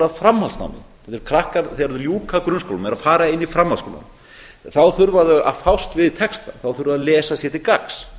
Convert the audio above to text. framhaldsnám þegar krakkar ljúka grunnskólanum og eru að fara inn í framhaldsskólann þá þurfa þau að fást við texta þá þurfa þau að lesa sér til gagns